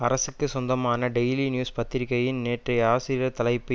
அரசுகுச் சொந்தமான Daily News பத்திரிகையின் நேற்றைய ஆசிரியர் தலைப்பு